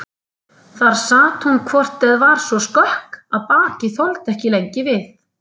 Þar sat hún hvort eð var svo skökk að bakið þoldi ekki lengi við.